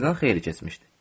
Gecədən xeyli keçmişdi.